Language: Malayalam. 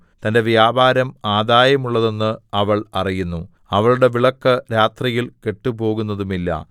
തന്റെ വ്യാപാരം ആദായമുള്ളതെന്ന് അവൾ അറിയുന്നു അവളുടെ വിളക്ക് രാത്രിയിൽ കെട്ടുപോകുന്നതുമില്ല